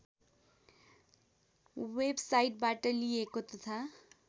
वेबसाइटबाट लिइएको तथा